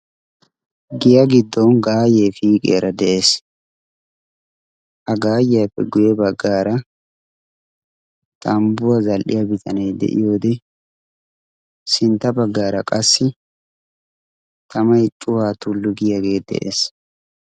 giyaa giddon gaayyee piiqiyaara de'ees. ha gaayyiyaappe guye baggaara tambbuwaa zal'iya bitane de'iyoode sintta baggaara qassi tamay cuwaa tulli giyaagee de'ees.